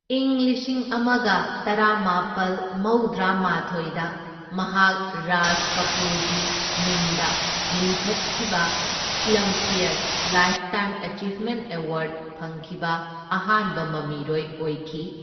ꯏꯪ ꯂꯤꯁꯤꯡ ꯑꯃꯒ ꯇꯔꯥꯃꯥꯄꯜ ꯃꯧꯗ꯭ꯔꯥꯃꯥꯊꯣꯢꯗ ꯃꯍꯥꯛ ꯔꯥꯖ ꯀꯄꯨꯔꯒꯤ ꯃꯤꯡꯗ ꯂꯤꯡꯈꯠꯈꯤꯕ ꯐꯤꯜꯝꯐ꯭ꯌꯔ ꯂꯥꯏꯐꯇꯥꯏꯝ ꯑꯦꯆꯤꯕꯃꯦꯟꯠ ꯑꯦꯋꯥꯔꯗ ꯐꯪꯈꯤꯕ ꯑꯍꯥꯟꯕ ꯃꯃꯤꯔꯣꯏ ꯑꯣꯏꯈꯤ꯫